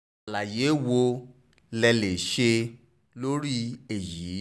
àlàyé wo lẹ lè ṣe lórí èyí